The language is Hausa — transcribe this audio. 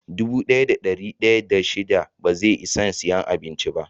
Dubu daya da dari daya da shida ba zai Isan siya abincin ba.